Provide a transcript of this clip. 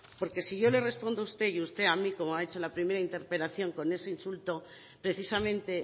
porque si yo le respondo a usted y usted a mí como ha hecho en la primera interpelación con ese insulto precisamente